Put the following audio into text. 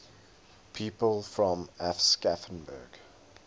people from aschaffenburg